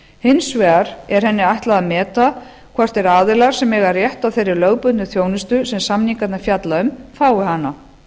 hins vegar er henni ætlað að meta hvort þeir aðilar sem eiga rétt á þeirri lögbundnu þjónustu sem samningarnir fjalla um fái hana